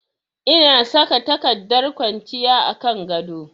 Ina saka takardar ƙwanciya a kan gado